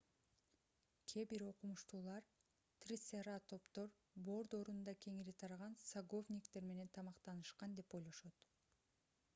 кээ бир окумуштуулар трицератоптор бор доорунда кеңири тараган саговниктер менен тамактанышкан деп ойлошот